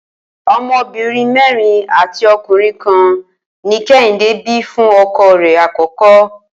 O̩mo̩bìnrin mé̩rin àti o̩kùnrin kan ni Ké̩hìndé bí fún ọkọ rẹ àkọ́kọ́